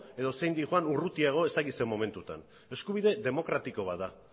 edo zein doan urrutiago ez daki zer momentuan eskubide demokratiko bat da